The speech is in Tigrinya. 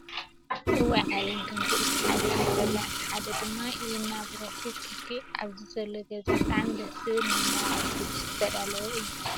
እዋይ ! ዓለም ኮንቱ እቲ ሓደ ይነብረላ እቲ ሓደ ድማ የናብሮ ክክክክክ ኣብዚ ዘሎ ገዛ ብጣዕሚ ደስ ዝብል ናይ መርዓ ዝግጅት ዝተዳለወ እዩ።